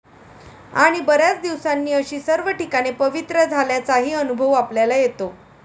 आणि बऱ्याच दिवसांनी अशी सर्व ठिकाणे पवित्र झाल्याचाही अनुभव आपल्याला येतो.'